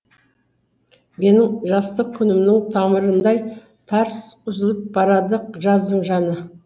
менің жастық күнімнің тамырындай тарс үзіліп барады жаздың жаны